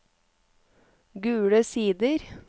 Gule Sider